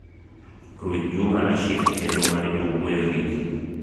ruch juma rashid e chenro mar jowuoyo gi ji